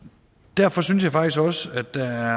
derfor synes jeg faktisk også at der